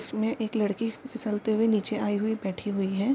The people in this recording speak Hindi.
इसमें एक लड़की फिसलते हुए नीचे आई हुई बैठी हुई है।